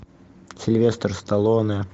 сильвестр сталлоне